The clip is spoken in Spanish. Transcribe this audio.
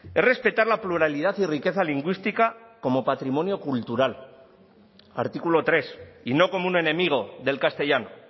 es respetar la pluralidad y riqueza lingüística como patrimonio cultural artículo tres y no como un enemigo del castellano